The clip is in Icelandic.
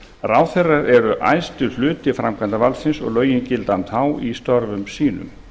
ráðherrar eru æðsti hluti framkvæmdarvaldsins og lögin gilda um þá í störfum sínum